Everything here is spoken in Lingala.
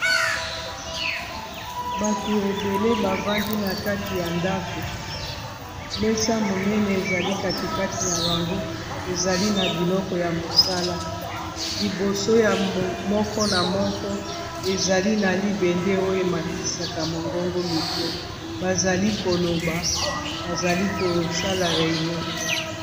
bato ebele bavandi na kati ya ndako mesa monene ezali katikati na bango ezali na biloko ya mosala liboso ya moko na moko ezali na libende oyo ematisaka mongongo mikro bazali koloba bazali kosala reignon